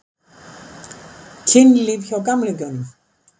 Kynlíf hjá gamlingjunum?